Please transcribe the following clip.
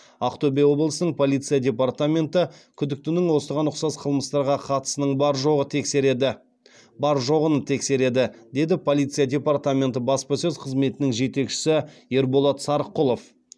ақтөбе облысының полиция департаменті күдіктінің осыған ұқсас қылмыстарға қатысының бар жоғын тексереді деді облыстық полиция департаментінің баспасөз қызметінің жетекшісі ерболат сарқұлов